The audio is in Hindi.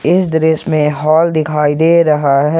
इस दृश्य में हॉल दिखाई दे रहा है।